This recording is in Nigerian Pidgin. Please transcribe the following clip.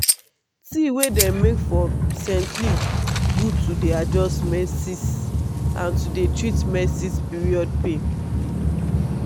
tea wey dem make from scent leaf good to dey adjust menses and to dey treat menses period pain.